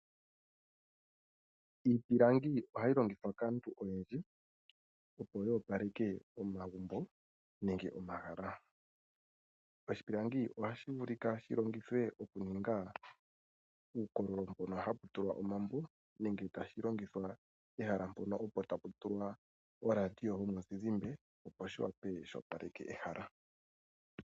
Iipilangi ohayi longithwa kaantu oyendji opo yo opaleke omagumbo nenge omahala. Oshipilangi ohashi vulika shi longithwe oku ninga uukololo mbono hapu tulwa omambo nenge tashi longithwa pehala mpono opo tapu tulwa oradio yomuzizimba, opo shi wa pe shi opaleke ehala.